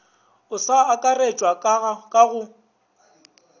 o sa akaretšwago ka go